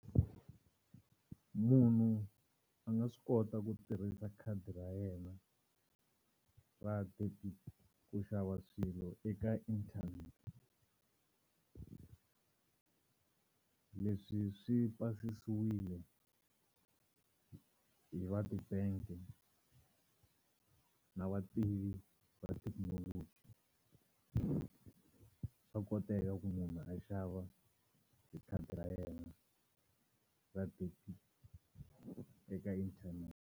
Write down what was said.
Munhu a nga swi kota ku tirhisa khadi ra yena ra debit ku xava swilo eka internet. Leswi swi pasisiwile hi va ti-bank-e na vativi va swa koteka ku munhu a xava hi khadi ra yena ra debit eka internet.